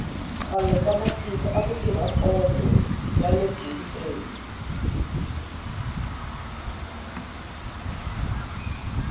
khale ka matiko aku tirha pondho yale biriteni